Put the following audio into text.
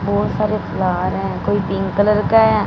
बहोत सारे फ्लार हैं कोई पिंक कलर का है--